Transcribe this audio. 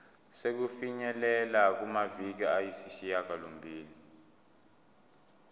sokufinyelela kumaviki ayisishagalombili